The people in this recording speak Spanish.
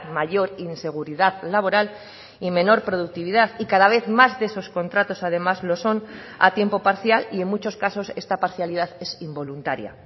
mayor inseguridad laboral y menor productividad y cada vez más de esos contratos además lo son a tiempo parcial y en muchos casos esta parcialidad es involuntaria